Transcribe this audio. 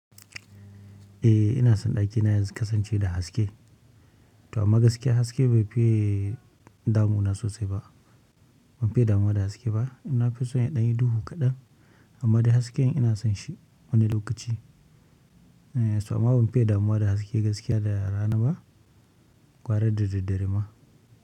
Eh ina son ɗakina ya kasance da haske. To amma gaskiya haske bai fiye damuna sosai ba. Ban fiye damuwa da haske ba. Na fi son ya ɗanyi duhu kaɗan amma dai hasken ina son shi wani lokaci. To amma ban fiye damuwa da haske gaskiya da rana ba, gwara da daddare ma.